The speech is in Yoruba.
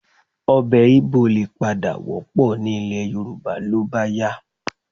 Ọbẹ̀ Igbò lè padà wọ́pọ̀ ní ilẹ̀ Yorùbá ló bá yá